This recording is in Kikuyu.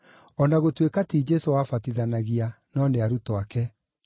o na gũtuĩka, ti Jesũ wabatithanagia, no nĩ arutwo ake.